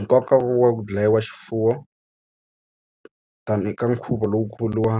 Nkoka wa ku dlayiwa xifuwo ta ni eka nkhuvo lowukulu wa